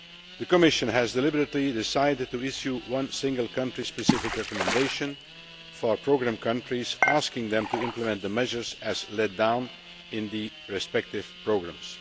The Commission has deliberately decided to issue one single, country specific recommendation for programme countries, asking them to implement the measures as laid down in the respective programmes.